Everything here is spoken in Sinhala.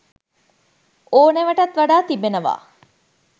ඕනෑවටත් වඩා තිබෙනවා